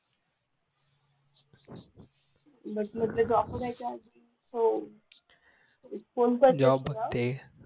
बूट म्हटलं जॉब बघायच्या आधी हो